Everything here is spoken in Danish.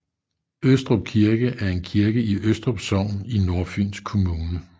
Østrup Kirke er en kirke i Østrup Sogn i Nordfyns Kommune